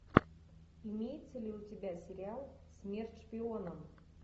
имеется ли у тебя сериал смерть шпионам